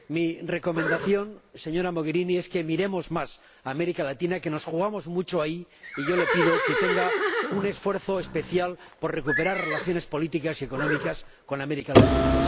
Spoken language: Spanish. Mi recomendación, señora Mogherini, es que miremos más a América Latina, que nos jugamos mucho ahí, y yo le pido que haga un esfuerzo especial por recuperar relaciones políticas y económicas con América Latina.